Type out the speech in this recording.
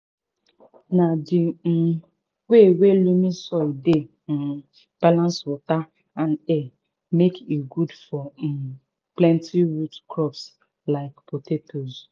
na di um wey wey loamy soil dey um balance water and air make e good for um plenti root crops like potatoes